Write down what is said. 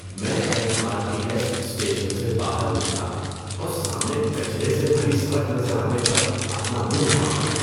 میں M R T S station سے باہر نکلا اور سامنے کچرے سے بھری سڑک نظر آنے پر اپنا منہ ڈھانپ لیا۔